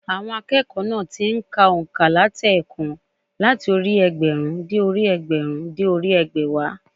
Àwọn akẹ́kọ̀ọ́ má ti n ka ònkà látèèkan láti orí i ẹgbẹ̀rún dé orí i ẹgbẹ̀rún dé orí i ẹgbẹ̀wá